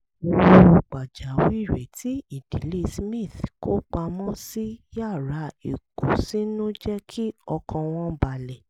owó pàjáwìrì tí ìdílé smith kó pamọ́ sí yàrá ìkósínú jẹ́ kí ọkàn wọn balẹ̀